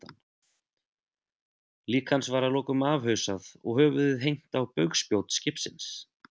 Lík hans var að lokum afhausað og höfuðið hengt á bugspjót skipsins.